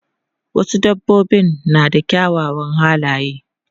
Wasu dabbobin na da kyawawan halaye.